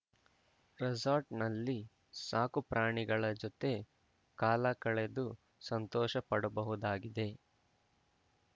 ರೆಸಾರ್ಟ್‌ನಲ್ಲಿ ಸಾಕುಪ್ರಾಣಿಗಳ ಜೊತೆ ಕಾಲ ಕಳೆದು ಸಂತೋಷಪಡಬಹುದಾಗಿದೆ